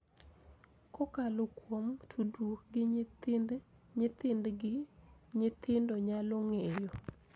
Kokalo kuom tudruok gi nyithind nyithindgi, nyithindo nyalo ng�eyo